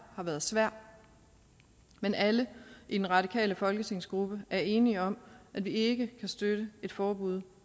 har været svært men alle i den radikale folketingsgruppe er enige om at vi ikke kan støtte et forbud